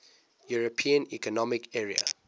european economic area